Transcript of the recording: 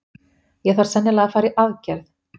Ég þarf sennilega að fara í aðgerð.